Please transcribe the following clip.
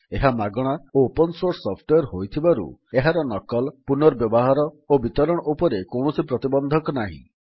ଏହା ମାଗଣା ଓ ଓପନ୍ ସୋର୍ସ ସଫ୍ଟୱେର୍ ହୋଇଥିବାରୁ ଏହାର ନକଲ ପୁନଃବ୍ୟବହାର ଓ ବିତରଣ ଉପରେ କୌଣସି ପ୍ରତିବନ୍ଧକ ନାହିଁ